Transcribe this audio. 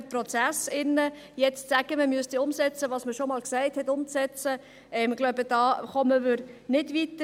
Jetzt zu sagen, man solle das umsetzen, von dem man schon einmal gesagt hat, dass man es umsetzt – ich glaube, damit kommen wir nicht weiter.